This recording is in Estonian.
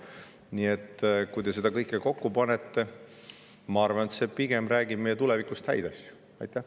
Nii et kui te kõik selle kokku panete, siis ma arvan, te näete, et see räägib meie tulevikust pigem häid asju.